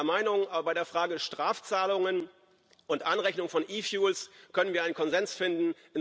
sind nicht immer einer Meinung, aber bei der Frage Strafzahlungen und Anrechnung von e fuels können wir einen Konsens finden.